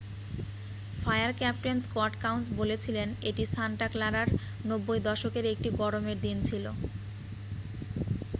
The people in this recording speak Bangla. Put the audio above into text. """ফায়ার ক্যাপ্টেন স্কট কাউন্স বলেছিলেন """এটি সান্টা ক্লারার 90 দশকের একটি গরমের দিন ছিল """।""